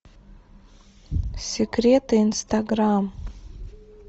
секреты инстаграм